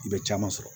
I bɛ caman sɔrɔ